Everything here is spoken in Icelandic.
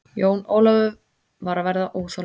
Jón Ólafur var að verða óþolinmóður.